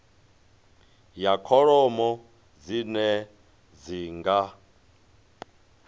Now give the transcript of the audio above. ya kholomo dzine dzi nga